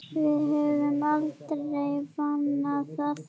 Við höfum aldrei bannað það.